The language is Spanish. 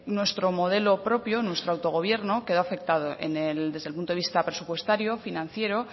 nuestro modelo propio nuestro autogobierno quedó afectado desde el punto de vista presupuestario financiero